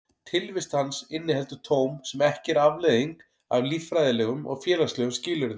Tilvist hans inniheldur tóm sem ekki er afleiðing af líffræðilegum og félagslegum skilyrðum.